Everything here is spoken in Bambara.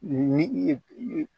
Ni i ye i ye